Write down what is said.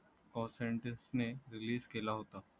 cosentus ने release केला होता